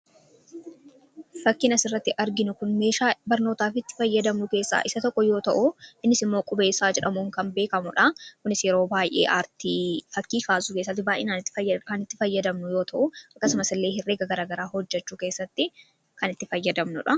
Fakkiin asirratti arginu kun meeshaa barnootaa fi itti fayyadamnu keessaa isa tokko yoo ta'u, innis immoo qubeessaa jedhamuun kan beekamudha. Kunis yeroo baay'ee artii fakkii kaasuu keessatti baay'inaan kan itti fayyadamnu yoo ta'u, akkasumas illee herrega hojjechuu keessatti kan itti fayyadamnudha.